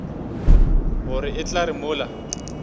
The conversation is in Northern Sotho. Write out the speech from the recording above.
gore e tla re mola